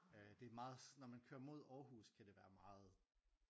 Det meget når man kører mod Aarhus kan det være meget